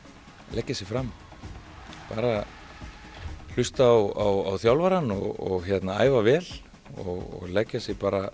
leggja sig fram bara hlusta á þjálfarann og æfa vel og leggja sig bara